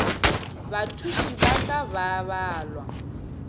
bathuši ba ka ba balwa